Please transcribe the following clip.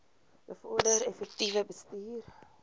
bevorder effektiewe bestuur